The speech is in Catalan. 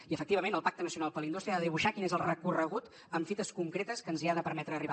i efectivament el pacte nacional per la indústria ha de dibuixar quin és el recorregut amb fites concretes que ens hi ha de permetre arribar